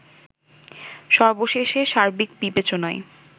সবশেষে সার্বিক বিবেচনায়